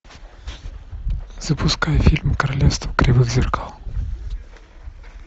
запускай фильм королевство кривых зеркал